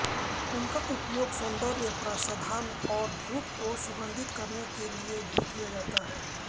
उनका उपयोग सौंदर्य प्रसाधन और धूप को सुगंधित करने के लिए भी किया जाता है